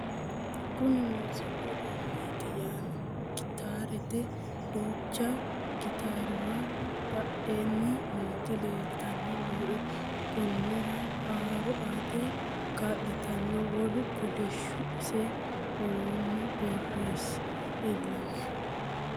kuni muziqu uduunneeti yaano gitaarete duucha gitaruwa badheenni noooti leeltanni nooe konnira huuro aate kaa'litanno wolu kolishshu ise woranni borisi leellanno